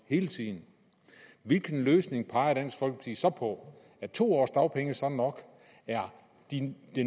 hele tiden hvilken løsning peger dansk folkeparti så på er to års dagpenge så nok er den